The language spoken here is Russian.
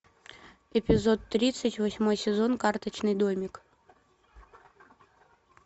эпизод тридцать восьмой сезон карточный домик